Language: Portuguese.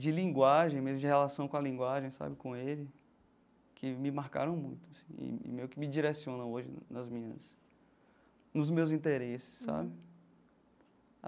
de linguagem, mesmo, de relação com a linguagem, sabe, com ele, que me marcaram muito, assim, e e meio que me direciona hoje nas minhas... nos meus interesses, sabe?